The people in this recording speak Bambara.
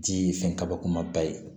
Di fɛn kaba kumaba ye